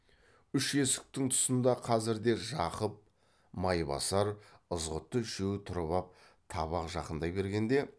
үш есіктің тұсында қазірде жақып майбасар ызғұтты үшеуі тұрып ап табақ жақындай бергенде